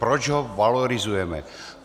Proč ho valorizujeme?